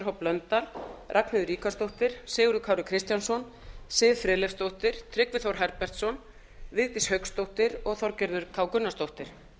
h blöndal ragnheiður ríkharðsdóttir sigurður kári kristjánsson siv friðleifsdóttir tryggvi þór herbertsson vigdís hauksdóttir og þorgerður k gunnarsdóttir